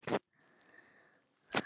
Elsku amma Sigrún.